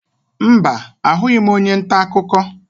Mba, ahụghị m onye ntaakụkọ